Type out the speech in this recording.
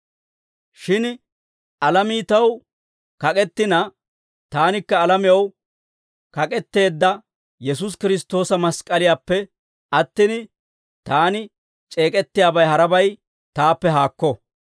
Shin alamii taw kak'ettina, taanikka alamew kak'etteedda Yesuusi Kiristtoosa mask'k'aliyaappe attin, taani c'eek'ettiyaabay harabay taappe haakko.